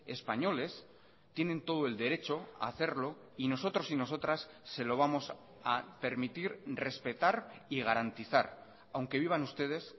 españoles tienen todo el derecho a hacerlo y nosotros y nosotras se lo vamos a permitir respetar y garantizar aunque vivan ustedes